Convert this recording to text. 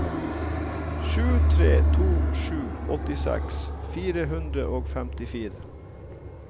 sju tre to sju åttiseks fire hundre og femtifire